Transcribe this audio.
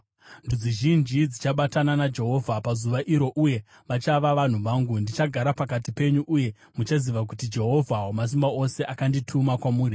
“Ndudzi zhinji dzichabatana naJehovha pazuva iro uye vachava vanhu vangu. Ndichagara pakati penyu uye muchaziva kuti Jehovha Wamasimba Ose akandituma kwamuri.